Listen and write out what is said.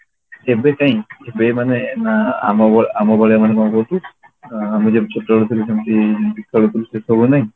ଏବେ କାଇଁ ଏବେ ମାନେ ଆ ଆମ ବେଳେ ଆମ ବେଳେ ମାନେ କଣ କହିଲୁ ଅ ମୁଁ ଯେମିତି ଛୋଟ ବେଳେ ଥିଲି ଯେମିତି ଯେମିତି ଖେଳୁଥିଲୁ ସେସବୁ ନାହିଁ